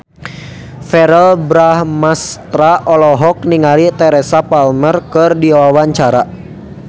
Verrell Bramastra olohok ningali Teresa Palmer keur diwawancara